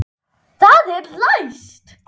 Það er læst!